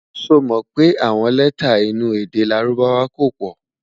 sọ mọ pé àwọn lẹta inú èdè lárùbáwá kò pò